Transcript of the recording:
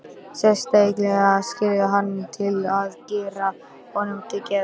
Segist skilja hann til að gera honum til geðs.